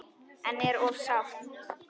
En er of sárt.